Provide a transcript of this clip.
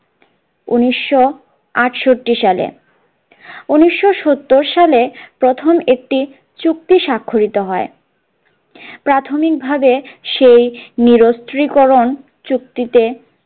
উনিশশো আটষট্টি সালে উনিশশো সত্তর সালে প্রথম একটি চুক্তি স্বাক্ষরিত হয় প্রাথমিক ভাবে সেই নিরস্ত্রীকরণ চুক্তিতে